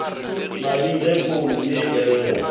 mading ge founu ye ella